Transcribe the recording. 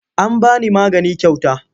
An ba ni magani kyauta.